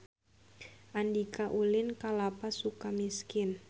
Andika ulin ka Lapas Sukamiskin